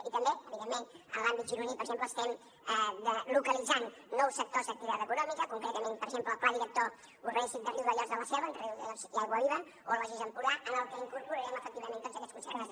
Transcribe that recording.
i també evidentment en l’àmbit gironí per exemple estem localitzant nous sectors d’activitat econòmica concretament per exemple el pla director urbanístic de riudellots de la selva entre riudellots i aiguaviva o el logis empordà en el que incorporarem efectivament tots aquests conceptes